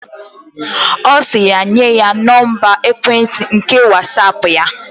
Osiri ya nye ya Nọmba ekwentị nke Whatsaapp ya.